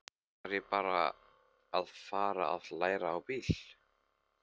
Þá þarf ég að fara að læra á bíl.